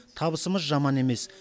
табысымыз жаман емес